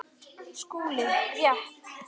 SKÚLI: Rétt!